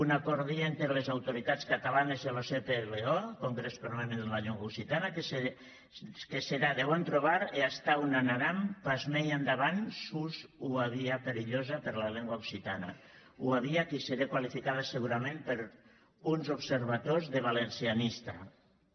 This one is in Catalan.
un acòrdi enter las autoritats catalanas e lo cplo congrès permanent de la lenga occitana que serà de bon trobar e atau n’anaram pas mei endavant sus ua via perilhosa per la lenga occitana ua via qui seré qualificada segurament per uns observators de valencianista